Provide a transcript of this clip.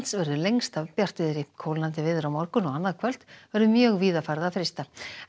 lengst af bjartviðri kólnandi veður á morgun og annað kvöld verður mjög víða farið að frysta